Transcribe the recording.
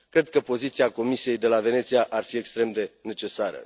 Cred că poziția Comisiei de la Veneția ar fi extrem de necesară.